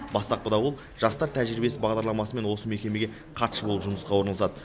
бастапқыда ол жастар тәжірибесі бағдарламасымен осы мекемеге хатшы болып жұмысқа орналасады